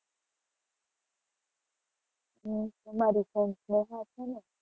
હું તમારી friend સ્નેહા છે ને?